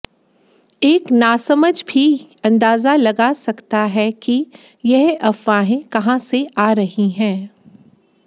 एक नामसझ भी अंदाजा लगा सकता है कि ये अफवाहें कहां से आ रही हैं